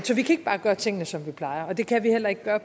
så vi kan ikke bare gøre tingene som vi plejer og det kan vi heller ikke gøre